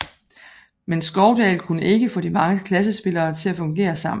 Men Skovdahl kunne ikke få de mange klassespillere til at fungere sammen